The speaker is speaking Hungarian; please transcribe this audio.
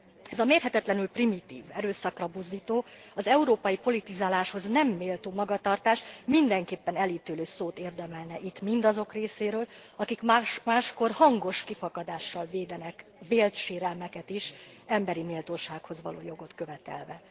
Ez a mérhetetlenül primitív, erőszakra buzdító, az európai politizáláshoz nem méltó magatartás mindenképpen elítélő szót érdemelne itt mindazok részéről, akik máskor hangos kifakadással védenek vélt sérelmeket is, emberi méltósághoz való jogot követelve.